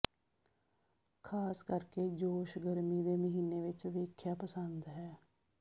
ਖ਼ਾਸ ਕਰਕੇ ਜੋਸ਼ ਗਰਮੀ ਦੇ ਮਹੀਨੇ ਵਿੱਚ ਵੇਖਿਆ ਪਸੰਦ ਹੈ